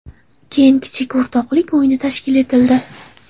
Keyin kichik o‘rtoqlik o‘yini tashkil etildi.